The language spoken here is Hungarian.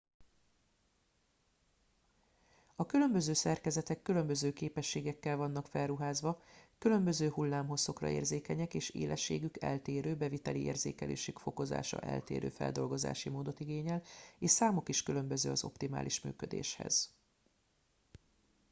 a különböző szerkezetek különböző képességekkel vannak felruházva különböző hullámhosszokra érzékenyek és élességük eltérő beviteli érzékelésük fokozása eltérő feldolgozási módot igényel és számuk is különböző az optimális működéshez